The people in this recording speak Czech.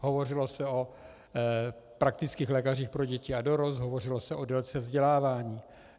Hovořilo se o praktických lékařích pro děti a dorost, hovořilo se o délce vzdělávání.